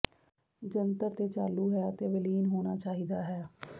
ਜੰਤਰ ਤੇ ਚਾਲੂ ਹੈ ਅਤੇ ਵਿਲੀਨ ਹੋਣਾ ਚਾਹੀਦਾ ਹੈ